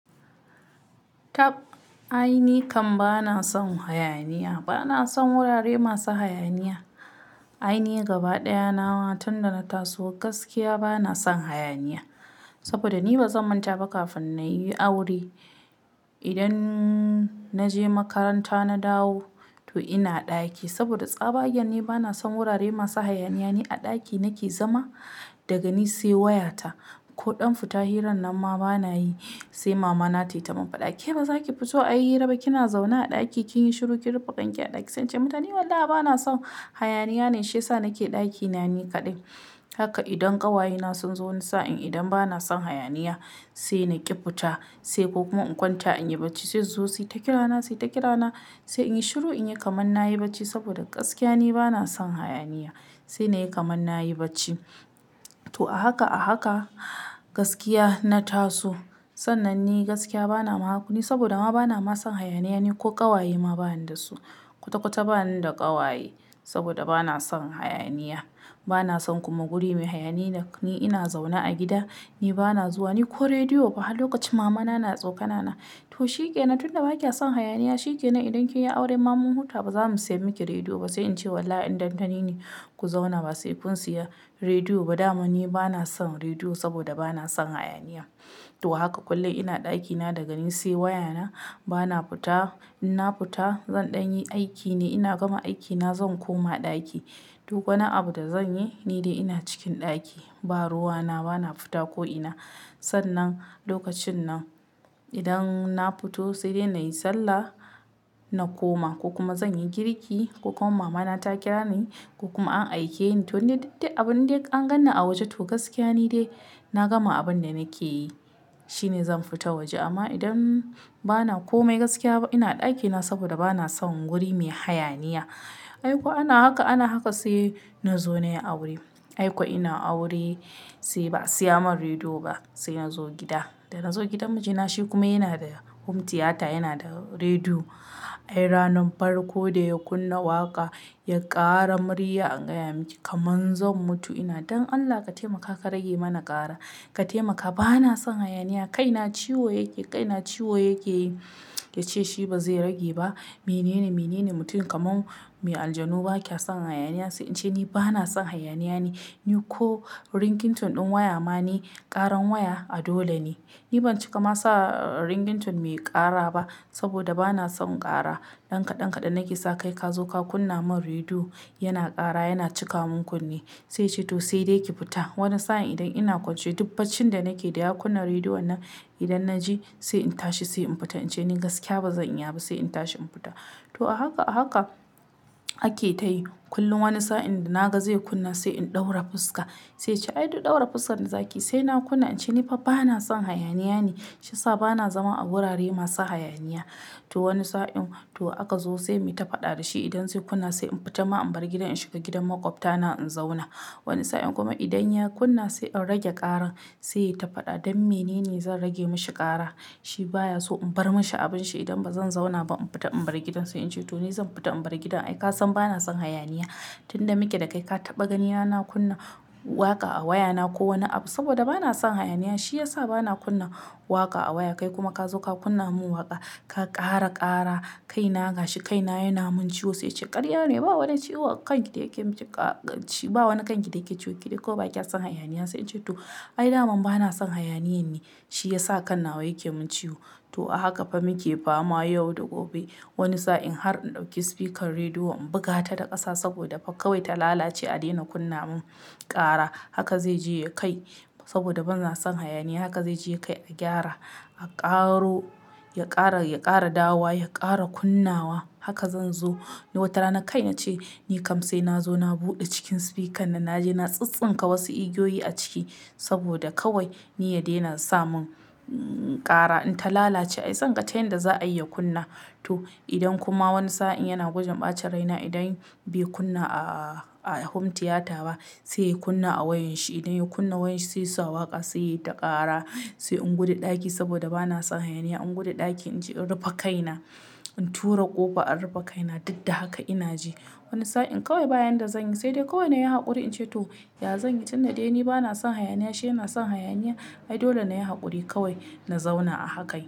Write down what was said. Tab ainihi kam bana son hayaniya, bana son wurare masu hayaniya. Ainihi gaba ɗaya nawa tun da na taso gaskiya bana son hayaniya. Saboda ni ba zan manta ba kafin na yi aure, idan naje makaranta na dawo to ina ɗaki. Saboda tsabagen ni bana son wurare masu hayaniya. Ni a ɗaki nake zama daga ni sai wayata. Ko ɗan fita hiran na ma bana yi. Sai mama na ta yi tamim "Fa ɗaki ba za ki fito ayi hira ba kina zauna a ɗaki kin yi shiru kin rufe ƙanƙa a ɗaki". Sai in ce mata "Ni wallahi bana son hayaniya ne shi yasa nake ɗaki na ni kaɗai". Haka idan ƙawaye na sun zo wani sa'in idan bana son hayaniya sai na ƙi fita, sai ko kuma in kwance an yi bacci. Sai su su yi takira na, sai takira na sai in yi shiru in yi kaman na yi bacci. Saboda gaskiya ni bana son hayaniya. Sai na yi kaman na yi bacci. To a haka a haka gaskiya na taso. Sannan ni gaskiya bana mahakuni saboda ama bana masu son hayaniya ne ko ƙawaye ma bani da su. Kwata-kwata bani da ƙawaye saboda bana son hayaniya. Bana son kuma guri mai hayaniya. Ni ina zauna a gida, ni bana zuwa ni ko rediyo ba. Hakan lokacin mama na, na tsokana na. To shi ke nan tun da ba kya son hayaniya. Shi ke nan idan kin yi aure mamu huta ba za mu saya miki rediyo ba. Sai in ce "Wallahi inda ni ne ku zauna ba sai kun saya rediyo ba." Da ama ni bana son rediyo saboda bana son hayaniya. To haka kullum ina ɗaki na daga ni sai waya na bana fita. In na fita zan ɗan yi aiki ne ina gama aiki na zan koma ɗaki. Duk wani abu da zan yi ni dai ina cikin ɗaki. Ba ruwa na bana fita ko ina. Sannan lokacin nan idan na fito sai dai na yi sallah na koma ko kuma zan yi girki ko kuma mama na ta kira ni ko kuma an aike ni. To ni duk dai abun dai an ganni a waje to gaskiya ni dai na gama abin da nake yi shine zan fita waje. Amma idan bana kome gaskiya ba ina a ɗaki na saboda bana son guri mai hayaniya. Ai ko ana haka, ana haka sai na zo na yi aure. Ai ko ina aure sai ba a saya mun rediyo ba. Sai na zo gida, da na zo gidan mijina shi kuma yana da hum tiyata yana da rediyo. Ai ranar farko da ya kunna waƙa ya ƙara murya an gaya miki "kaman zam mutu". Ina "Don Allah ka taimaka ka rage mana ƙara, ka taimaka bana son hayaniya. Kai na ciwo yake, kai na ciwo yake yi". Ya ce "Shi ba zai rage ba. Menene, menene mutum kaman mai aljanu ba kya son hayaniya?" Sai in ce "Ni bana son hayaniya ne. Ni ko ringtone ɗin waya ma ne ƙaran waya a dole ne. Ni ban cika ma sa ringtone mai ƙara ba saboda bana son ƙara. Ɗan kaɗan kaɗan nake sa kai ka zo ka kunna mun rediyo yana ƙara, yana cika mun kunne". Sai ya ce "To sai dai ki fita". Wani sa'in idan ina kwance duk faccin da nake da ya kunna rediyo na idan na ji sai in tashi sai in fita. In ce "Ni gaskiya ba zan iya ba" sai in tashi in fita. To a haka a haka ake ta yi. Kullum wani sa'in da naga zai kunna sai in ɗaura fuska. Sai ya ce "Ai duk ɗaura fuskar da zaki yi sai na kunna". In ce "Ni fa bana son hayaniya ne shi yasa bana zama a wurare masu hayaniya". To wani sa'in to aka zo sai mai ta faɗa da shi idan sai kunna sai in fita ma in bar gidan in shiga gidan makwabta na in zauna. Wani sa'in kuma idan ya kunna sai in rage ƙaran. Sai ya yi ta faɗa "Don menene zan rage mishi ƙara?" Shi baya so in bar mishi abin shi idan ba zan zauna ba. In fita in bar gidan. Sai in ce "To ni zan fita in bar gidan. Ai ka san bana son hayaniya. Tun da muke da kai ka taɓa ganina na kunna waƙa a waya na ko wani abu saboda bana son hayaniya. Shi ya sa bana kunna waƙa a waya kai kuma ka zo ka kunna mun waƙa ka ƙara ƙara. Kai na gashi kai na yana mun ciwo". Sai ya ce "Ƙarya ne ba wani ciwo a kanki da yake mun ciƙa ƙa shi ba wani kanki da yake ciwo ke ko ba kya son hayaniya". Sai in ce "To ai naman bana son hayaniya ne shi ya sa ƙanawa yake mun ciwo". To a haka fa muke ba ma yau da gobe. Wani sa'in har in ɗauki spikar rediyon in buga ta da ƙasa saboda fa kawai ta lalace a daina kunna mun ƙara. Haka zai je ya kai saboda ban zan son hayaniya. Haka zai je ya kai a gyara, a ƙaro, ya ƙara, ya ƙara dawa, ya ƙara kunnawa. Haka zan zo. Wata rana kai na ce "Ni kam sai na zo na buɗe cikin spikar nan naje na tsintsinka wasu igiyoyi a ciki saboda kawai ni ya daina sa mun ƙara in ta lalace. Ai tsankace yanda za a iya kunna". To idan kuma wani sa'in yana gujen ɓacin rai na idan bai kunna a, a hum tiyata ba sai ya kunna a wayan shi. Idan ya kunna wayan shi sai ya sa waƙa sai ya yi ta ƙara. Sai in guda ɗaki saboda bana son hayaniya. In guda ɗaki in ce in rufe kai na, in tura ƙofa, in rufe kai na. Duk da haka ina ji wani sa'in kawai ba yan da zan yi sai dai kawai na yi haƙuri in ce "To ya zan yi tun da dai ni bana son hayaniya shi yana son hayaniya". Ai dole na yi haƙuri kawai na zauna a haka yi.